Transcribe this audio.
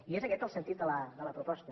i és aquest el sentit de la proposta